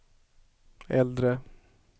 äldre